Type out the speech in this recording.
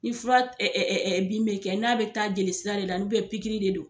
Ni fura bin bɛ kɛ n'a bɛ taa jelisira de la pikiri de do.